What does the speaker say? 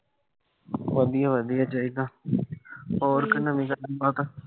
ਵਧੀਆ-ਵਧੀਆ ਈ ਚਾਹੀਦਾ। ਹੋਰ ਕੋਈ ਨਵੀਂ ਤਾਜ਼ੀ ਗੱਲਬਾਤ